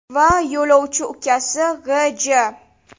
va yo‘lovchi ukasi G‘.J.